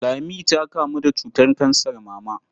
Lami ta kamu da cutar kansar mama.